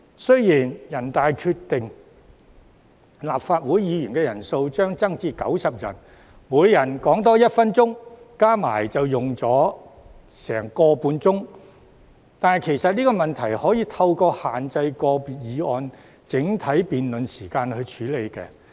雖然人大決定立法會議員人數將增至90人，每人發言多1分鐘，相加起來便要多用上近1小時30分，但其實這問題可透過限制個別議案的整體辯論時間處理。